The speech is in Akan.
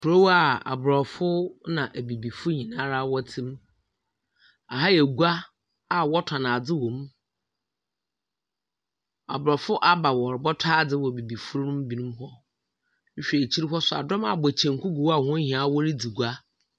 Korow aa abrɔfo na abibifo nyinaa ara ɛte'm. Aha yɛ gua aa w'ɔtɔn adze wo mu. Aborɔfo aba rebɛtɔ adze wɔ abibifo no bi nom hɔ. Wohwɛ akyiri hɔ nso aa, dɔn abɔ kyenku gu hɔ aa won nyinaa wɔredzi gua.